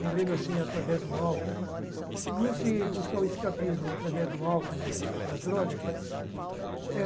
morrendo assim através do álcool, não se buscar o escapismo através do álcool, da droga, gente.